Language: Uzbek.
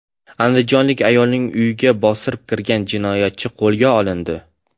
Andijonlik ayolning uyiga bostirib kirgan jinoyatchi qo‘lga olindi.